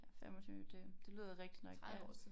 Ja 25 det det lyder rigtigt nok ja